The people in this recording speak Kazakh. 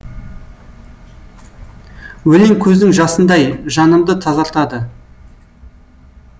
өлең көздің жасындай жанымды тазартады